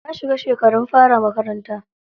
Ta shiga shekarun fara makaranta.